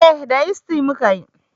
Eh da yisti muka yi